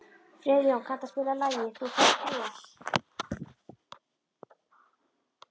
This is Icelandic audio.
Friðjóna, kanntu að spila lagið „Þú Færð Bros“?